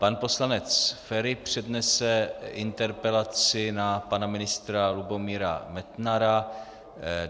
Pan poslanec Feri přednese interpelaci na pana ministra Lubomíra Metnara.